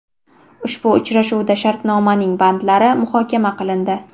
Ushbu uchrashuvda shartnomaning bandlari muhokama qilindi.